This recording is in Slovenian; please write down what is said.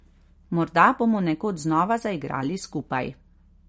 Morda bomo nekoč znova zaigrali skupaj.